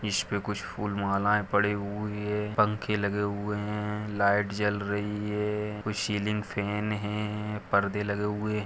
इस पे खुच माला फुल पड़े हुए है पंखे लगे हुए है लाईट जल रही है कुछ सीलिंग फेन है परदे लगे हुए --